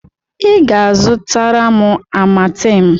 Ị ga-azụtara m Amatem!